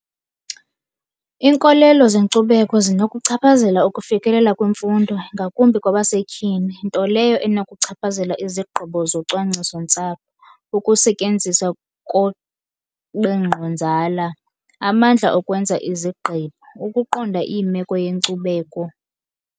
Inkolelo zenkcubeko zinokuchaphazela ukufikelela kwimfundo ngakumbi kwabasetyhini nto leyo enokuchaphazela izigqibo zocwangciso ntsapho, ukusetyenziswa amandla okwenza izigqibo, ukuqonda imeko yenkcubeko.